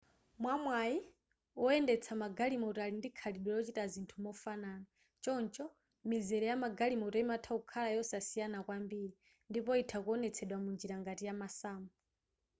mwamwayi woyendetsa magalimoto ali ndi khalidwe lochita zinthu mofanana choncho mizere ya magalimoto imatha kukhala yosasiyana kwambiri ndipo itha kuonetsedwa munjira ngati ya masamu